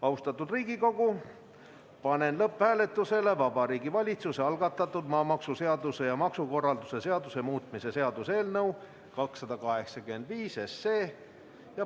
Austatud Riigikogu, panen lõpphääletusele Vabariigi Valitsuse algatatud maamaksuseaduse ja maksukorralduse seaduse muutmise seaduse eelnõu 285.